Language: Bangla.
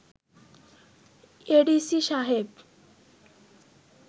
এডিসি সাহেব